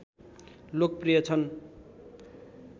लोकप्रिय छन्